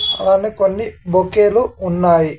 అలానే కొన్ని బొకే లు ఉన్నాయి.